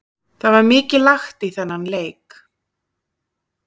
Það var mikið lagt í þennan leik.